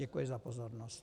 Děkuji za pozornost.